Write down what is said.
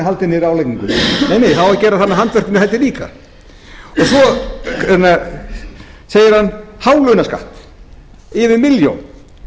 nei það á að gera það með handvirkum hætti líka svo segir hann hálaunaskatt yfir milljón